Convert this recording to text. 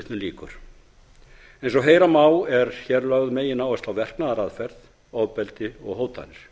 eins og heyra má er lögð megináhersla á verknaðaraðferð ofbeldi og hótanir